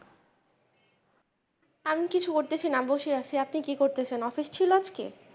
আমি কিছু করতেছি না বসে আছি আপনি কি করতেছেন office ছিল আজকে?